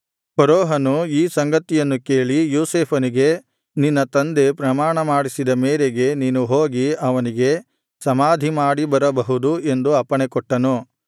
ಫರೋಹನು ಈ ಸಂಗತಿಯನ್ನು ಕೇಳಿ ಯೋಸೇಫನಿಗೆ ನಿನ್ನ ತಂದೆ ಪ್ರಮಾಣ ಮಾಡಿಸಿದ ಮೇರೆಗೆ ನೀನು ಹೋಗಿ ಅವನಿಗೆ ಸಮಾಧಿ ಮಾಡಿಬರಬಹುದು ಎಂದು ಅಪ್ಪಣೆಕೊಟ್ಟನು